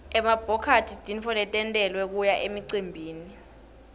emabhokathi timphahla letentiwele kuya emicimbini